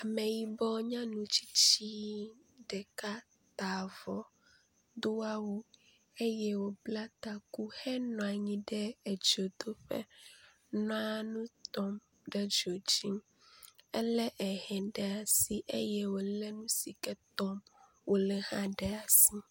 Ame yibɔ nyɔnu tsitsi ɖeka ta avɔ, do awu eye wòbla taku henɔ anyi edzodoƒe nɔa nu tɔm ɖe dzodzi. Elé ehɛ ɖe asi eye wòle nu si ke tɔm wòle hã ɖe asi.